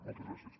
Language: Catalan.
moltes gràcies